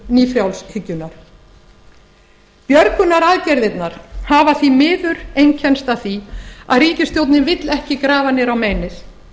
frjálshyggjunnar björgunaraðgerðirnar hafa því miður einkennst af því að ríkisstjórnin vill ekki grafa niður á meinið